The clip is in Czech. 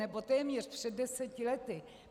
Nebo téměř před deseti lety.